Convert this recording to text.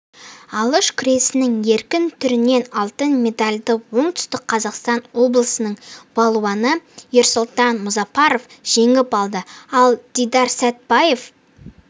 алыш күресінің еркін түрінен алтын медальды оңтүстік қазақстан облысының балуаны ерсұлтан мұзапаров жеңіп алды ал дидарсәтбаев